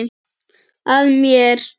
Að mér.